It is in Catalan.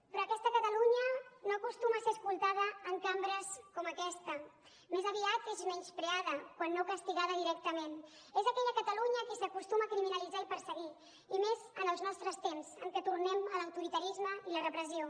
però aquesta catalunya no acostuma a ser escoltada en cambres com aquesta més aviat és menyspreada quan no castigada directament és aquella catalunya que s’acostuma a criminalitzar i perseguir i més en els nostres temps en què tornem a l’autoritarisme i la repressió